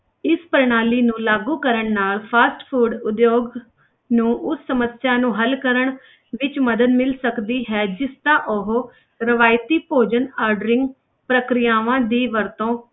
ਇਸ ਪ੍ਰਣਾਲੀ ਨੂੰ ਲਾਗੂ ਕਰਨ ਨਾਲ fast food ਉਦਯੋਗ ਨੂੰ ਉਸ ਸਮੱਸਿਆ ਨੂੰ ਹੱਲ ਕਰਨ ਵਿੱਚ ਮਦਦ ਮਿਲ ਸਕਦੀ ਹੈ, ਜਿਸ ਦਾ ਉਹ ਰਵਾਇਤੀ ਭੋਜਨ ordering ਪ੍ਰਕਿਰਿਆਵਾਂ ਦੀ ਵਰਤੋਂ